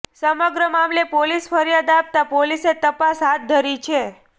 સમગ્ર મામલે પોલીસ ફરિયાદ આપતા પોલીસે તપાસ હાથ ધરી છે